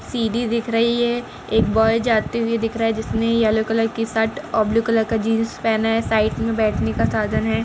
सीढ़ी दिख रही है एक बॉय जाते हुए दिख रहा है जिसने येलो कलर की शर्ट और ब्लू कलर के जीन्स पहना है और साइड में बैठने का साधन हैं।